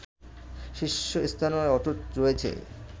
শীর্ষস্থানও অটুট রয়েছে